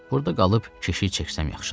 Burda qalıb keşiy çəksəm yaxşıdır.